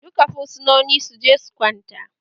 Duka fursunoni su je su kwanta!